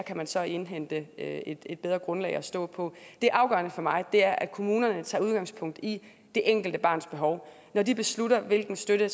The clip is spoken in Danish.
kan man så indhente et et bedre grundlag at stå på det afgørende for mig er at kommunerne tager udgangspunkt i det enkelte barns behov når de beslutter hvilken støtte